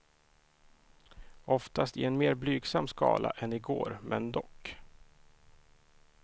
Oftast i en mer blygsam skala än i går men dock.